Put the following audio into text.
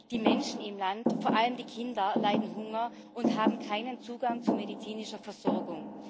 Die Menschen im Land vor allem die Kinder leiden Hunger und haben keinen Zugang zu medizinischer Versorgung.